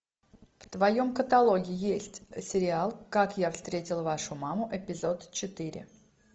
в твоем каталоге есть сериал как я встретил вашу маму эпизод четыре